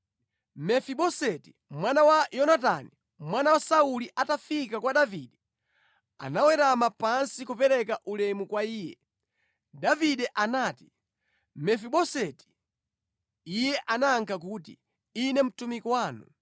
Mefiboseti mwana wa Yonatani, mwana wa Sauli atafika kwa Davide, anawerama pansi kupereka ulemu kwa iye. Davide anati, “Mefiboseti!” Iye anayankha kuti, “Ine mtumiki wanu.”